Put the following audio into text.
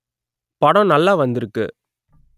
படம் நல்லா வந்திருக்கு